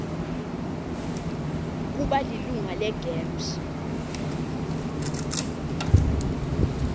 kuba lilunga legems